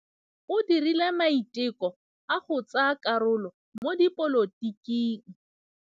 O dirile maitekô a go tsaya karolo mo dipolotiking.